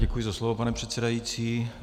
Děkuji za slovo, pane předsedající.